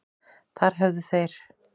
Þar höfðu þeir